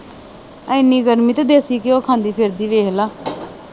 ਏਨੀ ਗਰਮੀ ਆ ਤੇ ਦੇਸੀ ਘਿਓ ਖਾਂਦੀ ਫਿਰਦੀ ਵੇਖਲਾ